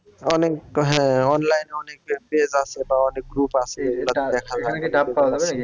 অনেক হ্যাঁ online অনেক page আছে বা অনেক group আছে